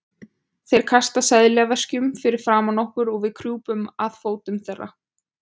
Þeir kasta seðlaveskjunum fyrir framan okkur og við krjúpum að fótum þeirra.